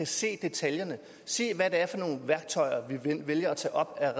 se detaljerne og se hvad det er for nogle værktøjer vi vælger at tage op af